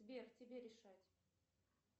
сбер тебе решать